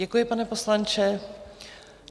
Děkuji, pane poslanče.